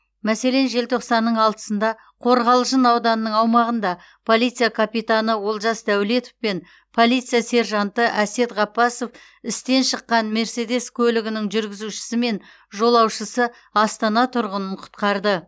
мәселен желтоқсанның алтысында қорғалжын ауданының аумағында полиция капитаны олжас дәулетов пен полиция сержанты әсет ғаббасов істен шыққан мерседес көлігінің жүргізушісі мен жолаушысы астана тұрғынын құтқарды